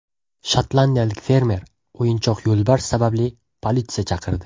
Shotlandiyalik fermer o‘yinchoq yo‘lbars sababli politsiya chaqirdi.